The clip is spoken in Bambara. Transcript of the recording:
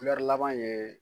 kulɛri laban ye